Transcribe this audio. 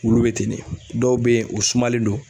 Wulu be ten de dɔw be yen o sumalen don